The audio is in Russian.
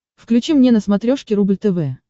включи мне на смотрешке рубль тв